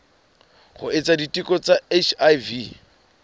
ho etsa diteko tsa hiv